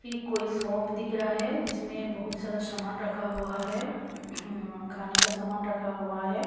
ये कोई शॉप दिख रहा है जिसमें बहुत सारा सामान रखा हुआ है खाने का सामान रखा हुआ है।